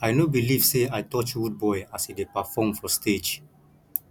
i no believe say i touch rudeboy as he dey perform for stage